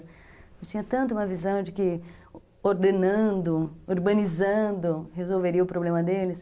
Eu tinha tanto uma visão de que ordenando, urbanizando, resolveria o problema deles.